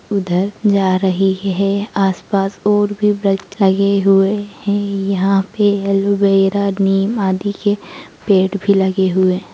उधर जा रही है आस-पास और भी वृक्ष आए हुए हैं। यहां पे एलोवेरा नीम आदि के पेड़ भी लगे हुए हैं।